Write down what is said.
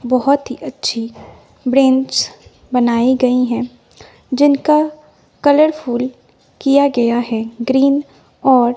बहोत ही अच्छी बैंच बनाई गई है जिनका कलरफुल किया गया हैं ग्रीन और--